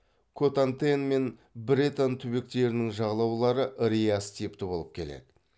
котантен мен бретань түбектерінің жағалаулары риас типті болып келеді